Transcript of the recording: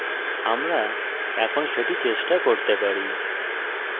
আমরা এখন সেটি চেষ্টা করতে পারি